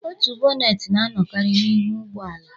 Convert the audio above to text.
Otu bonnet na-anọkarị n'ihu ụgbọ ala